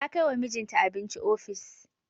Ta kai wa mijinta abinci ofis.